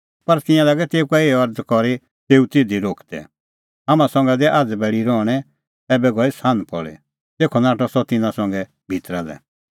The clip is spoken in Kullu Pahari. पर तिंयां लागै तेऊ का एही अरज़ करी तेऊ तिधी रोकदै हाम्हां संघै दै आझ़ बैल़ी रहणैं ऐबै गई सान्ह पल़ी तेखअ नाठअ सह तिन्नां संघै भितरा लै